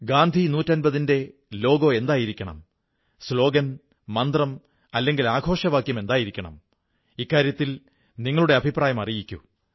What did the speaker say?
ഗാന്ധി 150 ന്റെ ലോഗോ എന്തായിരിക്കണം സ്ലോഗൻ മന്ത്രം അല്ലെങ്കിൽ ആഘോഷവാക്യം എന്തായിരിക്കണം ഇക്കാര്യത്തിൽ നിങ്ങളുടെ അഭിപ്രായം അറിയിക്കൂ